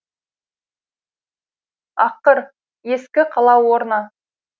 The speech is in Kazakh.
аққыр ескі қала орны